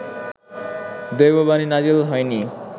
দৈববাণী নাজেল হয়নি